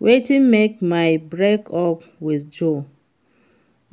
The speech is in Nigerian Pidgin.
Wetin make may I break up with Joe